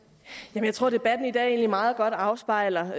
jeg tror at debatten i dag egentlig meget godt afspejler